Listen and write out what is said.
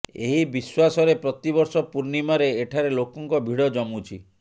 ଏହି ବିଶ୍ୱାସରେ ପ୍ରତିବର୍ଷ ପୂର୍ଣ୍ଣିମାରେ ଏଠାରେ ଲୋକଙ୍କ ଭିଡ ଜମୁଛି